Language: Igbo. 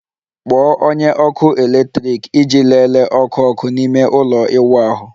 Kpọọ onye ọkụ eletrik iji lelee ọkụ ọkụ n'ime ime ụlọ ịwụ ahụ